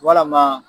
Walama